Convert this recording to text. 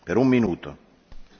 Panie Przewodniczący!